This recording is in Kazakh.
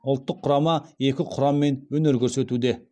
ұлттық құрама екі құраммен өнер көрсетуде